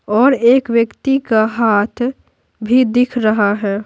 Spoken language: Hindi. और एक व्यक्ति का हाथ भी दिख रहा है।